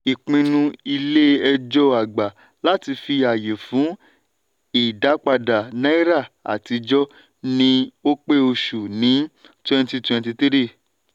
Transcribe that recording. ìpinnu ilé ejò àgbà láti fi àyè fún ìdápadà náírà àtijó ní ọ̀pẹ̀ oṣù ní 2023.